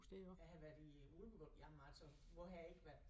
Jeg har været i Ulkebøl jamen altså hvor har jeg ikke været